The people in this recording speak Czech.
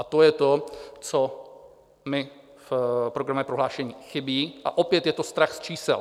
A to je to, co mi v programovém prohlášení chybí, a opět je to strach z čísel.